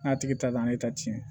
N'a tigi ta ne ta tiɲɛ